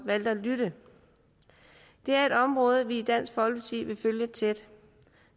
valgte at lytte det er et område vi i dansk folkeparti vil følge tæt